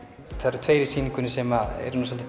það eru tveir í sýningunni sem eru nú